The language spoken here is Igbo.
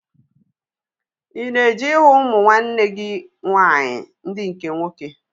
Ị na-eje ịhụ ụmụ nwanne gị nwaanyị ndị nke nwoke?